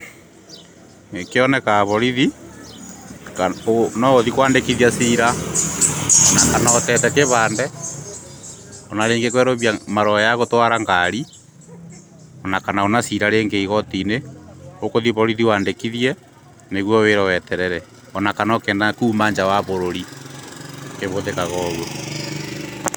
Nĩ kĩonekaga borithi.Noũthiĩ kwandĩkithia ciira. Kana ũteete kĩbandĩ, marũa ma gũtwara ngari, kana ona cira rĩngĩ igoti-inĩ, ũgũthiĩ borithi wandĩkithie, nĩguo wĩrwo weterere. Ona kana kuuma nja ya bũrũri.